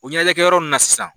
O ɲɛnajɛ kɛ yɔrɔ nunnu na sisan.